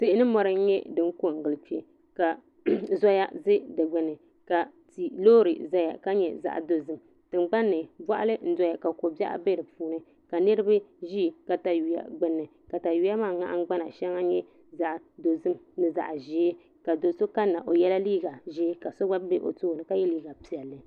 Tihi ni mori n nyɛ din ko n gili kpɛ ka zoya bɛ di gbuni ka loori ʒɛya ka nyɛ zaɣ dozim tingbanni boɣali n doya ka ko biɛɣu bɛ di puuni ka niraba ʒi katawiya gbunni katawiya maa nahangbana shɛŋa nyɛ zaɣ dozim ni zaɣ ʒiɛ ka do so kanna o yɛla liiga ʒiɛ ka so gba bɛ o tooni o yɛla liiga piɛlli